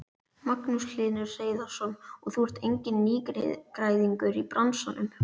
Magnús Hlynur Hreiðarsson: Og þú ert enginn nýgræðingur í bransanum?